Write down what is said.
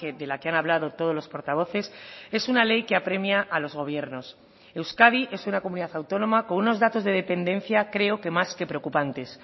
de la que han hablado todos los portavoces es una ley que apremia a los gobiernos euskadi es una comunidad autónoma con unos datos de dependencia creo que más que preocupantes